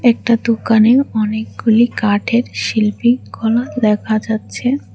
একটা দোকানে অনেকগুলি কাঠের শিল্পী কলা দেখা যাচ্ছে।